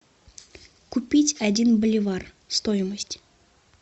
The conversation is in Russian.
купить один боливар стоимость